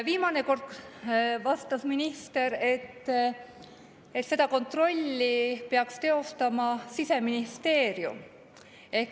Viimane kord vastas minister, et seda kontrolli peaks teostama Siseministeerium.